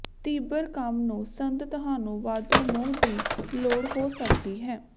ਤੀਬਰ ਕੰਮ ਨੂੰ ਸੰਦ ਤੁਹਾਨੂੰ ਵਾਧੂ ਮੋਹ ਦੀ ਲੋੜ ਹੋ ਸਕਦੀ ਹੈ